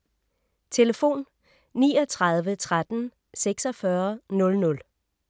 Telefon: 39 13 46 00